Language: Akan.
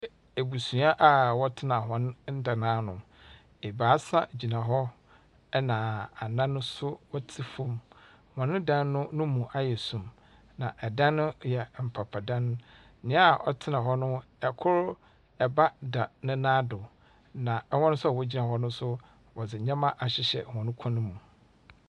Ebusua a wɔtsena hɔn dan ano. Ebaasa gyina hɔ ɛnna anan nso wɔtse fam. Hɔn dan no no mu ayɛ sum, na dan no yɛ mpapadan. Nea ɔtsena hɔ no, kor ba da ne nan do, na wɔn nso a wogyina hɔ no nso, wɔdze nneɛma ahyehyɛ hɔn kɔn mu.